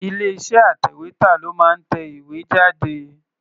Ilé-iṣẹ́ atẹ̀wétà ló máa ń tẹ ìwé jáde.